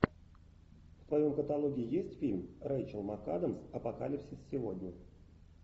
в твоем каталоге есть фильм рэйчел макадамс апокалипсис сегодня